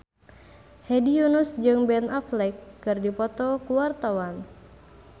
Hedi Yunus jeung Ben Affleck keur dipoto ku wartawan